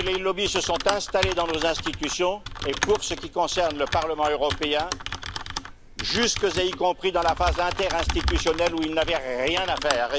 Ils se sont installés dans nos institutions et, pour ce qui concerne le Parlement européen, jusque dans la phase interinstitutionnelle, où ils n'avaient rien à faire.